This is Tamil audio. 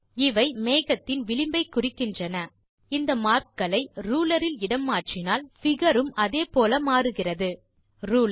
இவை மேகத்தின் விளிம்பை குறிக்கின்றன இந்த மார்க் களை ரூலர் இல் இடம் மாற்றினால் பிகர் உம் அதே போல மாறுகிறது ரூலர்